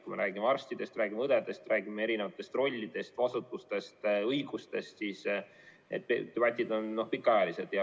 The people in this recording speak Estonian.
Kui me räägime arstidest, räägime õdedest, räägime erinevatest rollidest, vastutusest, õigustest, siis need debatid on pikaajalised.